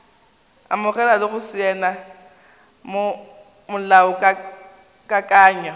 amogela le go saena molaokakanywa